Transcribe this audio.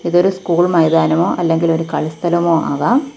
ഇതൊരു സ്കൂൾ മൈതാനമോ അല്ലെങ്കിലൊരു കളി സ്ഥലമോ ആകാം.